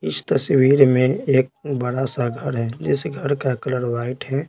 इस तस्वीर में एक बड़ा सा घर है जिस घर का कलर वाइट है।